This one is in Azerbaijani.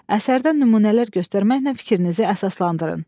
Əsərdən nümunələr göstərməklə fikrinizi əsaslandırın.